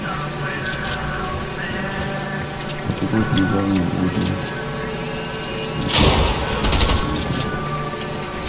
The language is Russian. по какой программе можно узнать расписание канала